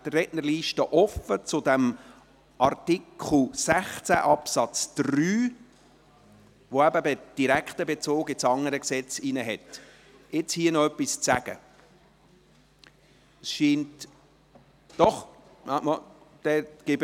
Dann ist nun zu diesem Artikel 16 Absatz 3, der eben einen direkten Bezug zum anderen Gesetz hat, die Rednerliste für die Fraktionen offen.